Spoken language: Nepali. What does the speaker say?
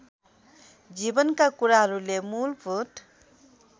जीवनका कुराहरूले मूलभूत